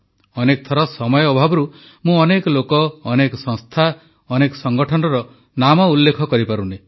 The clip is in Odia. ଅନେକ ଥର ସମୟ ଅଭାବରୁ ମୁଁ ଅନେକ ଲୋକ ଅନେକ ସଂସ୍ଥା ଅନେକ ସଂଗଠନର ନାମ ଉଲ୍ଲେଖ କରିପାରୁନି